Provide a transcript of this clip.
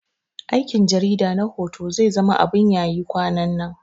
Aikin jarida na hoto zai zama abun yayi kwanannan